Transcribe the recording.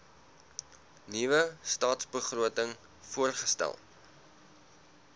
nuwe stadsbegroting voorgestel